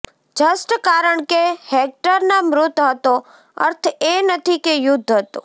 just કારણ કે હેક્ટરના મૃત હતો અર્થ એ નથી કે યુદ્ધ હતો